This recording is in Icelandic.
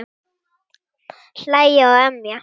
Hlæja og emja.